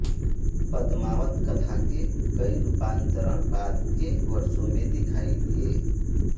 पद्मावत कथा के कई रूपांतरण बाद के वर्षों में दिखाई दिए